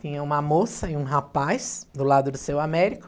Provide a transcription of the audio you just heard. Tinha uma moça e um rapaz do lado do seu Américo.